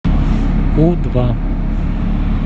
у два